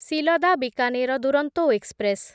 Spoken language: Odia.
ସିଲଦା ବିକାନେର ଦୁରନ୍ତୋ ଏକ୍ସପ୍ରେସ୍